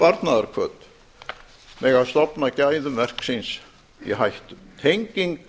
né sparnaðarhvöt mega stofna gæðum verksins í hættu tenging